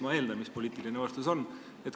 Ma eeldan, mis poliitiline vastus oleks.